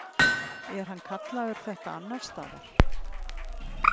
Er hann kallaður þetta annars staðar?